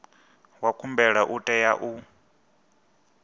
wa khumbelo u tea u